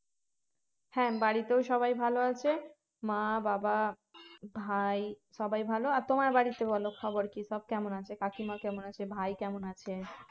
হ্যাঁ বাড়িতেও সবাই ভালো আছে মা বাবা ভাই সবাই ভালো আর তোমার বাড়িতে বলো খবর কি সব কেমন আছে কাকিমা কেমন আছে ভাই কেমন আছে